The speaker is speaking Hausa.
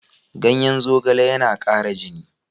Ganyen zogale yana ƙara jini.